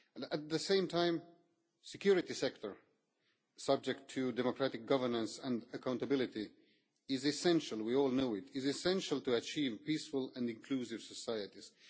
At the same time, the security sector, subject to democratic governance and accountability, is as we all know essential to achieving peaceful and inclusive societies.